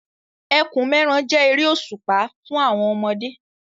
Ẹkùn-mẹ́ran jẹ́ eré òṣùpá fún àwọn ọmọdé.